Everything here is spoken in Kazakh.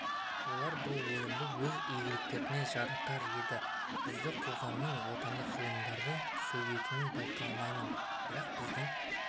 олар бұл өнімді өз игіліктеріне жаратар еді бізде қоғамның отандық ғалымдарды сөгетінін байқаймын бірақ біздің